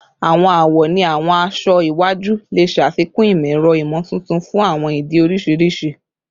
Awọn awọ ni awọn aṣọ iwaju le ṣafikun imọ-ẹrọ imotuntun fun awọn idi oriṣiriṣi